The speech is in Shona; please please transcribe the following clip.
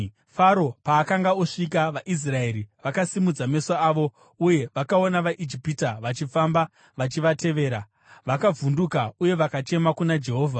Faro paakanga osvika, vaIsraeri vakasimudza meso avo, uye vakaona vaIjipita vachifamba vachivatevera. Vakavhunduka uye vakachema kuna Jehovha.